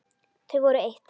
Þau voru eitt.